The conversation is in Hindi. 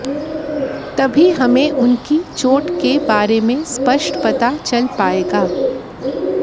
तभी हमें उनकी चोट के बारे में स्पष्ट पता चल पाएगा